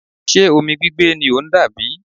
Ṣe omi gbigbe ni o n dà bi?